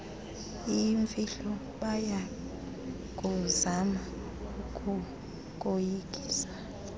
iyimfihlo bayakuzama ukukoyikisa